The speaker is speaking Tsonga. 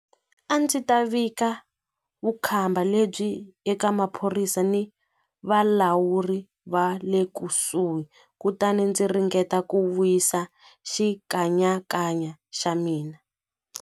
A ndzi ta vika vukhamba lebyi eka maphorisa ni valawuri va le kusuhi kutani ndzi ringeta ku wisa xikanyakanya xa mina.